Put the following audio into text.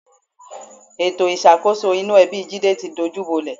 Ètò ìṣàkóso inú ẹbi Jídé ti dojúbolẹ̀